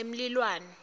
emlilwane